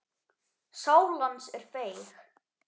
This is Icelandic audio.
Sál hans er feig.